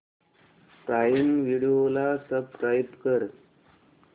prime Video ला subscribe कर